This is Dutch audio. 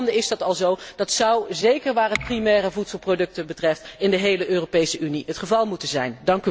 In sommige landen is dat al zo en dat zou, zeker waar het primaire voedselproducten betreft, in de hele Europese Unie het geval moeten zijn.